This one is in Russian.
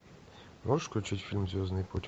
можешь включить фильм звездный путь